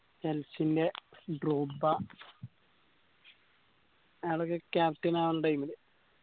Chelsea ന്റെ അയാളൊക്കെ captain ആവണ time ല്